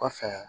Kɔfɛ